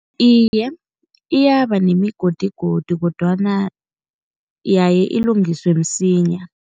Iye, iyaba nemigodigodi kodwana yaye ilungiswe msinya.